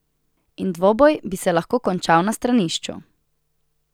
In dvoboj bi se lahko končal na stranišču.